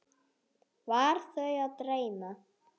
Var þau að dreyma?